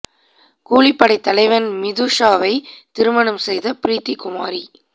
கூலிப்படை தலைவன் மிது ஷாவை திருமணம் செய்த ப்ரீத்தி குமாரி